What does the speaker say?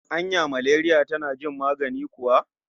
Anya maleriya tana jin magani kuwa?